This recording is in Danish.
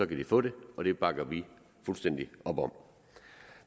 de få det og det bakker vi fuldstændig op om